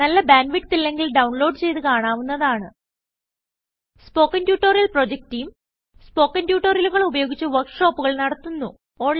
നല്ല bandwidth ഇല്ലെങ്കിൽ download ചെയ്ത് കാണാവുന്നതാണ് spoken tutorial project team spoken ട്യൂട്ടോറിയലുകൾ ഉപയോഗിച്ച് വർക്ക് ഷോപ്പുകൾ നടത്തുന്നു